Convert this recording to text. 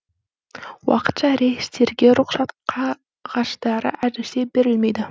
уақытша рейстерге рұқсат қағаздары әзірше берілмейді